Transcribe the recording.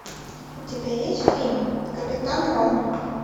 у тебя есть фильм капитан рон